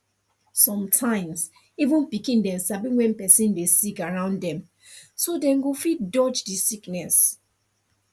sometimes even pikin dem sabi when person dey sick around dem so dem go fit dodge the sickness